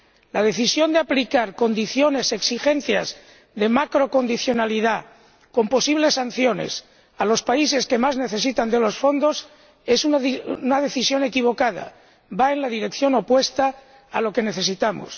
La decisión de aplicar condiciones y exigencias de macrocondicionalidad, con posibles sanciones a los países que más necesitan de los fondos, es una decisión equivocada, va en la dirección opuesta a lo que necesitamos.